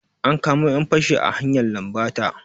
An kamo 'yan fashi a hanyar lambata.